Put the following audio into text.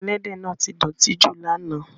Ẹ̀lẹ́dẹ náà ti dọtí ju lána.